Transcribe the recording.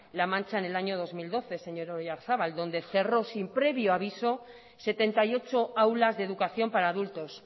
la mancha en el año dos mil doce señor oyarzabal donde cerró sin previo aviso setenta y ocho aulas de educación para adultos